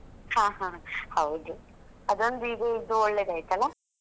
ಹಾ ಹಾ ಹೌದು ಅದು ಒಂದು ಈಗ ಇದ್ದು ಒಳ್ಳೆದಾಯ್ತಲ್ಲ.